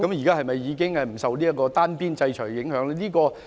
他們現在是否已不受單邊制裁的影響？